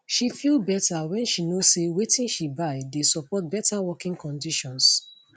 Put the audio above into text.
she feel better when she know say watin she buy dey support better working conditions